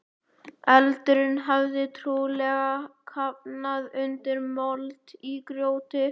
Eldurinn hafði trúlega kafnað undir mold og grjóti.